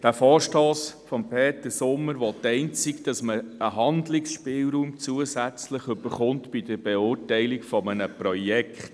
Der Vorstoss von Peter Sommer will einzig, dass bei der Beurteilung eines Projekts ein gewisser Behandlungsspielraum besteht.